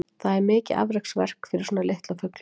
Það er mikið afreksverk fyrir svona litla fugla.